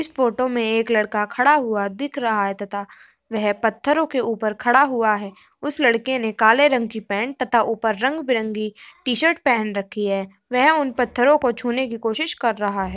इस फोटो में एक लड़का खड़ा हुआ दिख रहा है तथा वह पत्थरों के ऊपर खड़ा हुआ है। उस लड़के ने काले रंग की पैन्ट तथा ऊपर रंग-बिरंगी टी-शर्ट पहन रखी है वह उन पत्थरों को छूने की कोशिश कर रहा हैं।